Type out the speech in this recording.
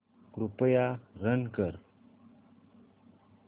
कृपया रन कर